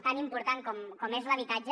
tan important com és l’habitatge